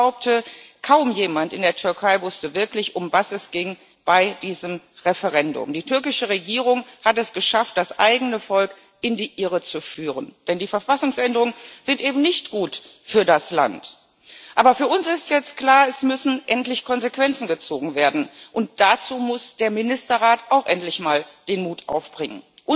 Denn ich behaupte Kaum jemand in der Türkei wusste wirklich, um was es bei diesem Referendum ging. Die türkische Regierung hat es geschafft, das eigene Volk in die Irre zu führen. Denn die Verfassungsänderungen sind eben nicht gut für das Land. Aber für uns ist jetzt klar Es müssen endlich Konsequenzen gezogen werden. Und dazu muss der Ministerrat auch endlich mal den Mut aufbringen.